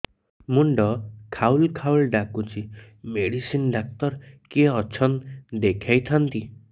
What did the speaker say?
ମୁଣ୍ଡ ଖାଉଲ୍ ଖାଉଲ୍ ଡାକୁଚି ମେଡିସିନ ଡାକ୍ତର କିଏ ଅଛନ୍ ଦେଖେଇ ଥାନ୍ତି